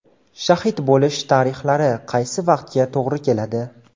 Shahid bo‘lish tarixlari qaysi vaqtga to‘g‘ri keladi?